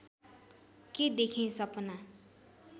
के देखेँ सपना